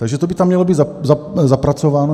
Takže to by tam mělo být zapracováno.